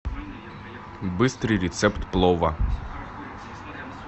быстрый рецепт плова